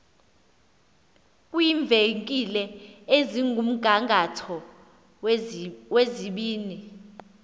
kwiivenkile ezikumgangatho wezibini